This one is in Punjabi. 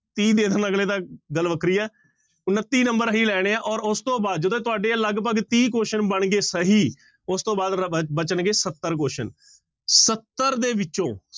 ਤੀਹ ਗੱਲ ਵੱਖਰੀ ਹੈ ਉਣੱਤੀ number ਹੀ ਲੈਣੇ ਹੈ ਔਰ ਉਸ ਤੋਂ ਬਾਅਦ ਜਦੋਂ ਤੁਹਾਡੇ ਲਗਪਗ ਤੀਹ question ਬਣ ਗਏ ਸਹੀ, ਉਸ ਤੋਂ ਬਾਅਦ ਬ ਬਚਣਗੇ ਸੱਤਰ question ਸੱਤਰ ਦੇ ਵਿੱਚੋਂ